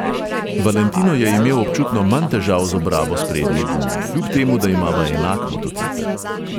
Valentino je imel občutno manj težav z obrabo sprednje gume, kljub temu, da imava enak motocikel.